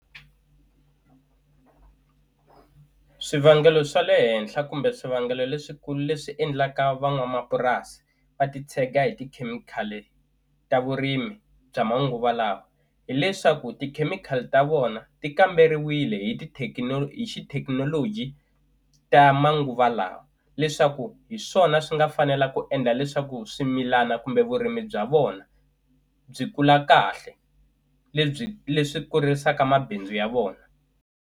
Swivangelo swa le henhla kumbe swivangelo leswikulu leswi endlaka van'wamapurasi va ti tshega hi tikhemikhali ta vurimi bya manguva lawa hileswaku tikhemikhali ta vona ti kamberiwile hi hi xithekinoloji ta manguva lawa leswaku hi swona swi nga fanela ku endla leswaku swimilana kumbe vurimi bya vona byi kula kahle lebyi leswi kurisaka mabindzu ya vona.